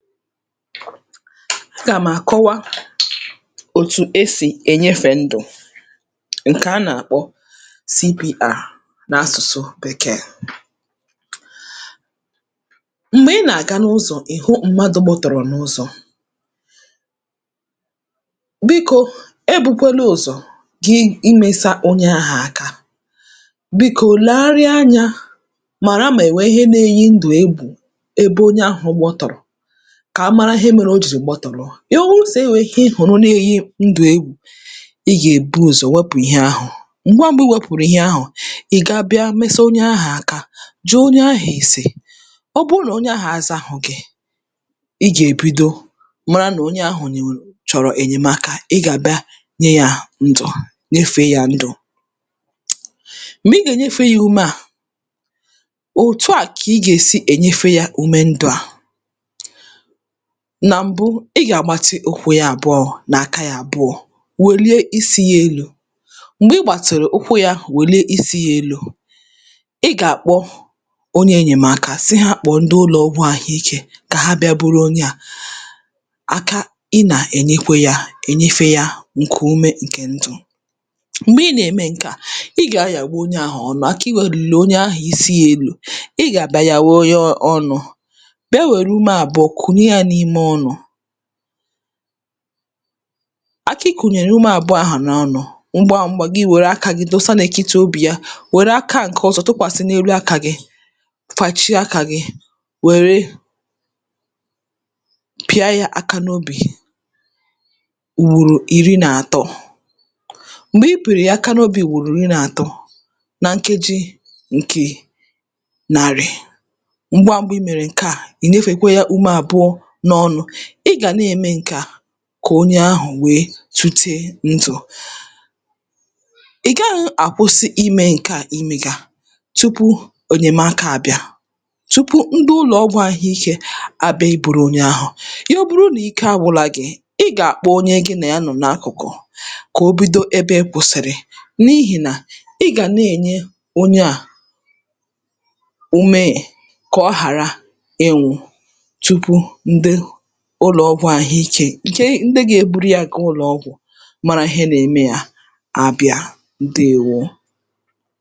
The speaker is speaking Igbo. Aga m àkọwa òtù e sì ènyefè ndụ̀ ṅ̀kè a nà-àkpọ CPR n’asụ̀sụ Bèkeè Mgbe ị na-aga n’uzo ị hụ mmadụ gbọ̀tọ̀rọ̀ n’ụzọ̀, bikō e bukwēlē ụ̀zọ̀ gịị imēsā onye ahà aka. Bikō lègharịa anyā màra mà è nwèè ihe nā-ēyī ndụ̀ egwù ebe onye ahụ̄ gbọ̀tọ̀rọ̀ ka a mara ihe mere o jìrì gbọtọ̀rọ. Ya wụrụ sị̀ o nwèrè ihe ị hụ̀rụ̀ na-eyi ndụ̀ egwù, ị gà-èbu ụzọ̀ wepụ̀ ihe ahụ̀. M̀gbe mbụ̄ i wepụ̀rụ̀ ihe ahụ̀, ị̀ ga-abịa mesa onye ahà aka, jụọ onye ahà èsè. Ọ bụrụ nà onye ahà azāhọ̄ gị̄, ị gà-èbido mara nà onye ahà chọ̀rọ̀ ènyèmaka ị gà-àbịa nye yā ndụ̀ nyefèe yā ndụ̀. M̀gbè ị gà-enyēfē yā ume à, otù à kà ị gà-èsi ènyefē yā ume ndụ̄ à. Nà m̀bụ ị gà-àgbatị ụkwụ yā àbu̩ọ̄ nà aka yā abụọ, wèlie isi yā elū. M̀gbè ị gbàtị̀rị̀ ụkwụ yā wèlie isi ya elū, ị gà-àkpọ onye ènyèm̀aka sị hā kpọ̣̀ọ ndị uloogwu ahụīkē kà ha bịa buru onye à.Aka ị nà-ènyekwe yā ènyefē yā ṅ̀kùume ṅ̀kè ndụ̀. M̀gbè ị nà-ème ṅ̀ke à ị gà-anyawa onye àhụ ọnụ aka i wèlìrì onye ahụ̀ isi yā elū. Ị gà-àbia yàwa yo ọnụ̣̄. Ewère ume àbụọ kùnye yā n’ime ọnụ̄. Aka i kùnyèrè ya ume àbụ̀ọ ahụ̀ ‘ọnụ̄ ṅgwa ṅ̄gwā gị wère akā gị̣̄ dosa n’ètitì obì ya. Wère aka ṅ̀ke ọzọ tụkwàsị n’elu akā gị̄, fàchie akā gị̄ wère pị̀a yā aka n‘obị̀ ùgbòrò iri nà àtọ. M̀gbè ị pị̀rị̀ yà aka n’obì ùgbòrò iri nà atọ na ṅkeji ṅ̀kì nàrị̀ ṅgwa ṅ̄gwā i mèrè nke à, i nyefèkwe yā ume àbụọ̄ n’ọnụ̄. Ị gà na-eme ṅ̀ke à kà onye àhụ̀ wèe tute ndụ̀. Ị̀ gaghị̄ àkwụsị imē ṅ̀ke à i mègà tupu ènyèm̀aka abịa, tupu ndị ụlọ̀gwụ̄ ahụikē àbịa ibūrū onye ahụ̀. Ya bụrụ nà ike àgwụla gị̄, ị gà-àkpọ onye gị nà ya nọ̀ n’akụ̀kụ̀ kà o bido ebe ị kwụsị̀rị̀ n’ihì nà ị gà na-ènye onye à ume kà ọ hàra ịnwụ̄ tupu ndiu ụlọ̀ọgwụ̄ àhụikē ke ndi gā-eburu yā gaa ụlọ̀ọgwụ̀ mara ihe nā-eme yā abịa. Ǹdeèwo.